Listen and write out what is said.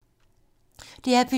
DR P2